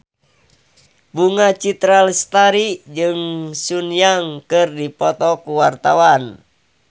Bunga Citra Lestari jeung Sun Yang keur dipoto ku wartawan